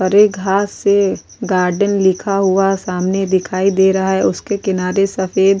गरे घास से गार्डन लिखा हुआ सामने दिखाई दे रहा है उसके किनारे सफेद --